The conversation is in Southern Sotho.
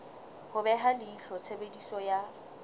ho beha leihlo tshebediso ya